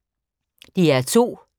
DR2